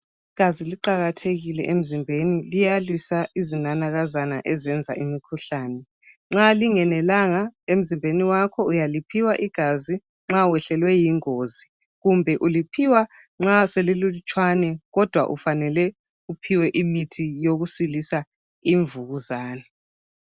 Igazi liqakathekile emzimbeni liyalwisa izinanakazana ezenza imikhuhlane. Nxa lingenelanga emzimbeni wakho uyaliphiwa igazi nxa wehlelwe yingozi kumbe uliphiwa nxa selililutshwana kodwa ufanele uphiwe imithi yokusilisa imvukuzane.